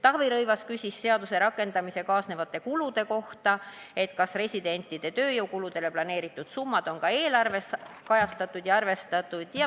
Taavi Rõivas küsis seaduse rakendamisega kaasnevate kulude kohta, kas residentide tööjõukuludele planeeritud summad on ka eelarves kajastatud ja arvestatud.